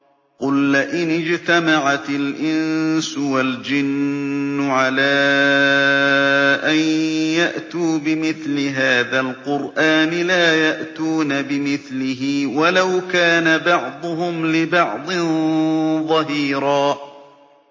قُل لَّئِنِ اجْتَمَعَتِ الْإِنسُ وَالْجِنُّ عَلَىٰ أَن يَأْتُوا بِمِثْلِ هَٰذَا الْقُرْآنِ لَا يَأْتُونَ بِمِثْلِهِ وَلَوْ كَانَ بَعْضُهُمْ لِبَعْضٍ ظَهِيرًا